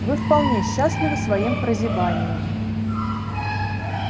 вы вполне счастливы своим прозябанием